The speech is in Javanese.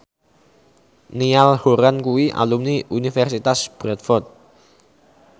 Niall Horran kuwi alumni Universitas Bradford